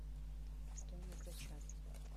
стоимость за час